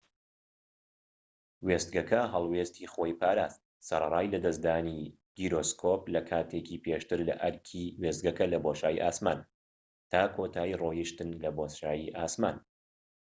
وێستگەکە هەڵوێستی خۆی پاراست، سەرەڕای لەدەستدانی گیرۆسکۆب لە کاتێکی پێشتر لەئەرکی وێستگەکە لە بۆشایی ئاسمان، تا کۆتایی ڕۆیشتن لە بۆشایی ئاسمان‎